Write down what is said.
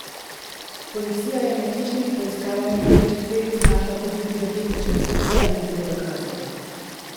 Policija je med hišnimi preiskavami pri četverici našla tudi pirotehnična sredstva in druge dokaze.